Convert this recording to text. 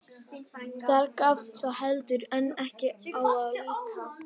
Þar gaf þá heldur en ekki á að líta.